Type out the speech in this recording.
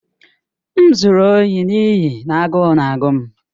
M zuru ohi n'ihi na agụụ na-agụ m.